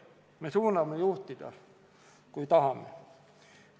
Me suudame juhtida, kui tahame.